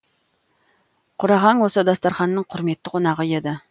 құрағаң осы дастарқанның құрметті қонағы еді